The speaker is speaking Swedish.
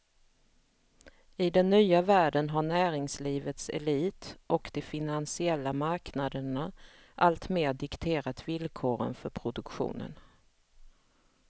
I den nya världen har näringslivets elit och de finansiella marknaderna alltmer dikterat villkoren för produktionen.